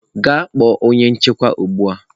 Gaa kpọọ onye nchekwa ugbu a!